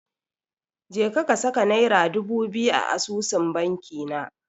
Jeka ka saka Naira dubu biyu a asusun bankina.